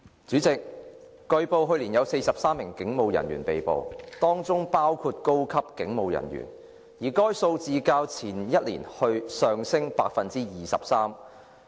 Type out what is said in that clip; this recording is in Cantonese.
主席，據報，去年有43名警務人員被捕，當中包括高級警務人員，而該數字較前一年上升百分之二十三。